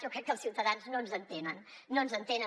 jo crec que els ciutadans no ens entenen no ens entenen